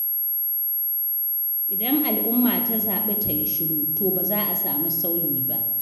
Idan al’umma ta zaɓi ta yi shiru, to ba za a sami sauyi ba.